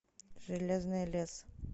железный лес